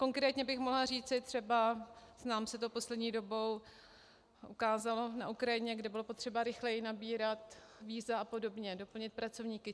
Konkrétně bych mohla říci třeba, nám se to poslední dobou ukázalo na Ukrajině, kde bylo potřeba rychleji nabírat víza a podobně, doplnit pracovníky.